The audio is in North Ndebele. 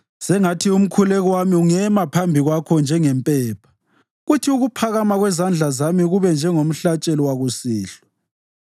Sengathi umkhuleko wami ungema phambi kwakho njengempepha; kuthi ukuphakama kwezandla zami kube njengomhlatshelo wakusihlwa.